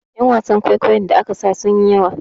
Yan wasan kwaikwayon da aka saka sun yi yawa